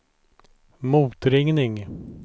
motringning